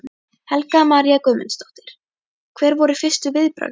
Helga María Guðmundsdóttir: Hver voru fyrstu viðbrögð þín?